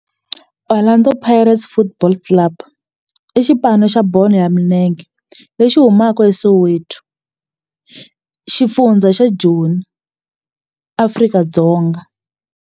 Orlando Pirates Football Club i xipano xa bolo ya milenge lexi humaka eSoweto, xifundzha xa Joni, Afrika-Dzonga.